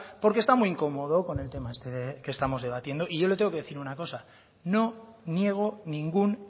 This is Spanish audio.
porque está muy incomodo con el tema este que estamos debatiendo y yo le tengo que decir una cosa no niego ningún